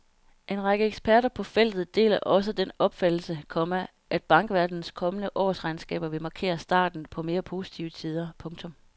En række eksperter på feltet deler også den opfattelse, komma at bankverdenens kommende årsregnskaber vil markere starten på mere positive tider. punktum